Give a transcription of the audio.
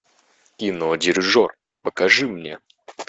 кино дирижер покажи мне